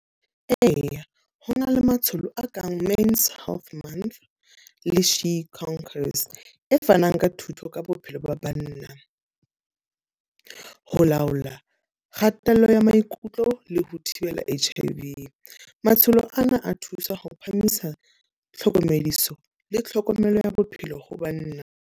Eya, ho na le matsholo a kang Men's Health Month, le , e fanang ka thuto ka bophelo ba banna. Ho laola kgatello ya maikutlo le ho thibela H_I_V. Matsholo ana a thusa ho phahamisa tlhokomediso le tlhokomelo ya bophelo ho banna.